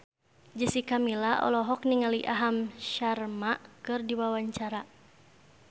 Jessica Milla olohok ningali Aham Sharma keur diwawancara